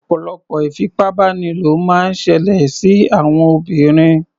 Ọ̀pọ̀lọpọ̀ ìfipábánilò máa ń ṣẹlẹ̀ sí àwọn obìnrin.